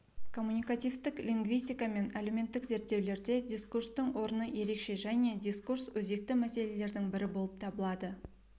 коммуникативтік лингвистика мен әлеуметтік зерттеулерде дискурстың орны ерекше және дискурс өзекті мәселелердің бірі болып табылады